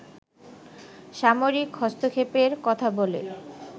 সামরিক হস্তক্ষেপের কথা বলে